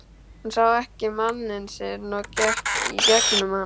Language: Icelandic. Hún sá ekki manninn sinn og gekk í gegnum hann.